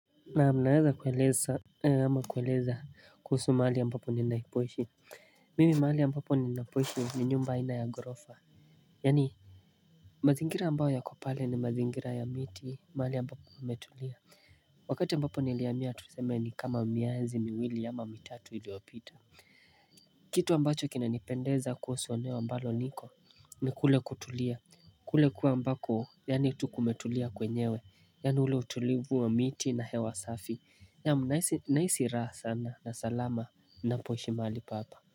Naam naweza kueleza. Ama kueleza kuhusu mahali ambapo ninaipoishi. Mimi mahali ambapo ninaipoishi ni nyumba aina ya ghorofa. Yaani mazingira ambayo yako pale ni mazingira ya miti mahali ambapo pametulia. Wakati ambapo nilihamia tuseme ni kama miezi miwili ama mitatu iliyopita. Kitu ambacho kinanipendeza kuhusu eneo ambalo niko ni kule kutulia. Kule kuwa ambako yaani tu kumetulia kwenyewe yaani ule utulivu wa miti na hewa safi naam nahisi raha sana na salama napoishi. Mahali papa.